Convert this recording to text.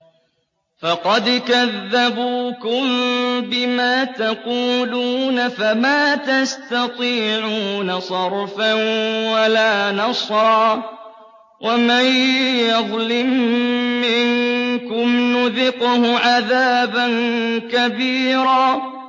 فَقَدْ كَذَّبُوكُم بِمَا تَقُولُونَ فَمَا تَسْتَطِيعُونَ صَرْفًا وَلَا نَصْرًا ۚ وَمَن يَظْلِم مِّنكُمْ نُذِقْهُ عَذَابًا كَبِيرًا